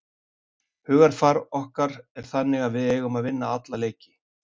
Hugarfar okkar er þannig að við eigum að vinna alla leiki.